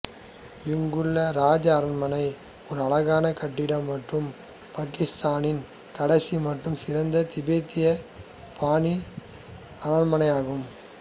இங்குள்ள ராஜா அரண்மனை ஒரு அழகான கட்டிடம் மற்றும் பாக்கித்தானில் கடைசி மற்றும் சிறந்த திபெத்திய பாணி அரண்மனை ஆகும்